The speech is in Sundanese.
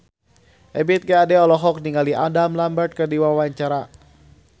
Ebith G. Ade olohok ningali Adam Lambert keur diwawancara